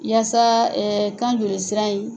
Yaasa kan joli sira in